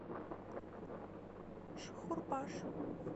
шхурпаш